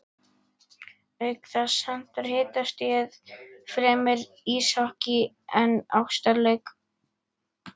Auk þess hentar hitastigið fremur íshokkí en ástarleik.